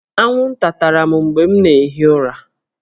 Anwụnta tara m mgbe m na-ehi ụra